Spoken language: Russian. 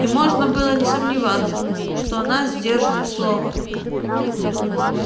и можно было не сомневаться что она сдержит слово